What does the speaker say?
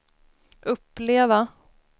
uppleva